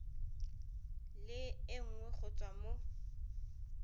le nngwe go tswa mo